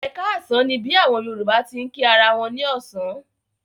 Ẹ káàsán ni bí àwọn Yorùbá ti ń kí ara wọn ní ọ̀sán.